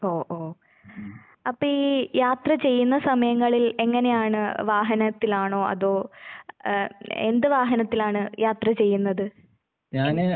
ഓ ഓ. അപ്പെയീ യാത്ര ചെയ്യുന്ന സമയങ്ങളിൽ എങ്ങനെയാണ് വാഹനത്തിലാണോ അതോ ഏഹ് എന്ത് വാഹനത്തിലാണ് യാത്ര ചെയ്യുന്നത്? എൻ